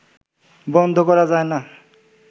বন্ধ করা যায় না